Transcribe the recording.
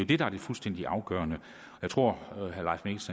det der er det fuldstændig afgørende jeg tror